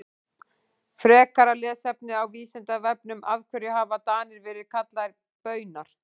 Frekara lesefni á Vísindavefnum Af hverju hafa Danir verið kallaðir Baunar?